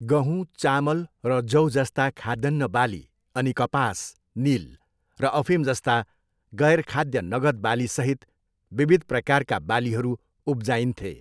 गहुँ, चामल र जौजस्ता खाद्यान्न बाली अनि कपास, निल र अफिमजस्ता गैर खाद्य नगद बालीसहित विविध प्रकारका बालीहरू उब्जाइन्थे।